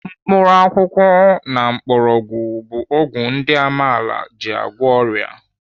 Mkpakwụkwọ na mgbọrọgwụ bụ ọgwụ ndị amaala ji agwọ ọrịa.